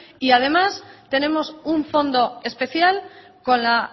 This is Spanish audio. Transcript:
y demás tenemos un fondo especial con la